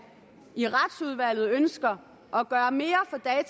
i retsudvalget ønsker at gøre mere